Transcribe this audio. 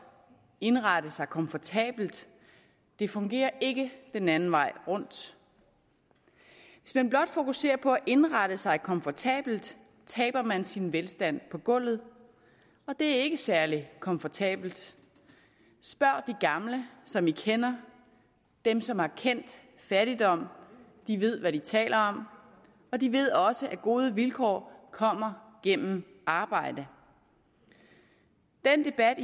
indrette sig komfortabelt det fungerer ikke den anden vej rundt hvis man blot fokuserer på at indrette sig komfortabelt taber man sin velstand på gulvet og det er ikke særlig komfortabelt spørg de gamle som man kender dem som har kendt fattigdom de ved hvad de taler om og de ved også at gode vilkår kommer gennem arbejde den debat